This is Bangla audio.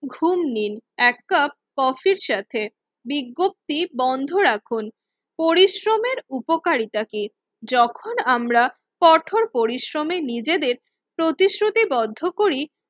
ঘুম নিন এক কাপ কফির সাথে, বিজ্ঞপ্তি বন্ধ রাখুন। পরিশ্রমের উপকারিতা কি? যখন আমরা কঠোর পরিশ্রমে নিজেদের প্রতিশ্রুতিবদ্ধ করি